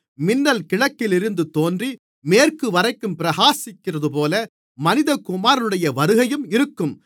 மின்னல் கிழக்கிலிருந்து தோன்றி மேற்குவரைக்கும் பிரகாசிக்கிறதுபோல மனிதகுமாரனுடைய வருகையும் இருக்கும்